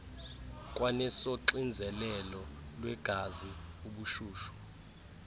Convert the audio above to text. kwanesoxinzelelo lwegazi ubushushu